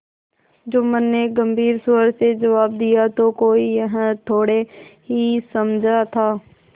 जुम्मन ने गम्भीर स्वर से जवाब दियातो कोई यह थोड़े ही समझा था